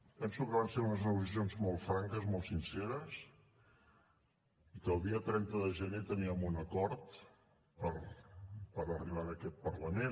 penso que van ser unes negociacions molt franques molt sinceres i que el dia trenta de gener teníem un acord per arribar en aquest parlament